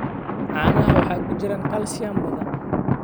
Caanaha waxaa ku jira kalsiyum badan.